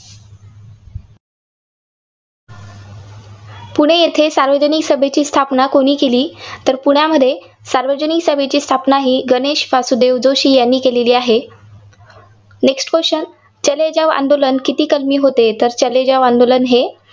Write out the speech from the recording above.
पुणे येथे सार्वजनिक सभेची स्थापना कुणी केली? तर पुण्यामध्ये सार्वजनिक सभेची स्थापना ही गणे्श वासुदेव जोशी यांनी केलेली आहे. next question चले जाव हे आंदोलन किती कलमी होते? तर चले जाव आंदोलन हे